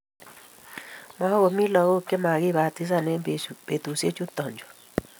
Makomii lakok chemakibatisani eng betusiek chuto chu